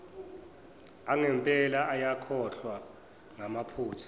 angempela ayakhohlwa ngamaphutha